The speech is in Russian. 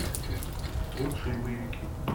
лучшие боевики